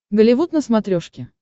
голливуд на смотрешке